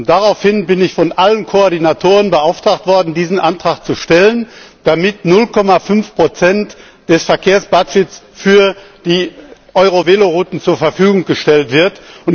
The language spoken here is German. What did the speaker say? Daraufhin bin ich von allen Koordinatoren beauftragt worden, diesen Antrag zu stellen, damit 0,5 des Verkehrshaushalts für die EuroVelo Routen zur Verfügung gestellt werden.